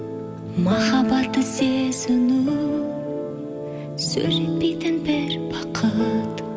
махаббатты сезіну сөз жетпейтін бір бақыт